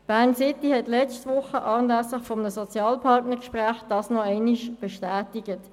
Bern-City hat das letzte Woche anlässlich eines Sozialpartnergesprächs noch einmal bestätigt.